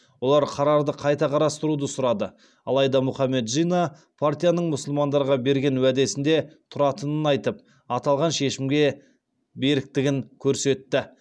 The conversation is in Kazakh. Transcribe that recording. олар қарарды қайта қарастыруды сұрады алайда мұхаммед джинна партияның мұсылмандарға берген уәдесінде тұратынын айтып аталған шешімге беріктігін көрсетті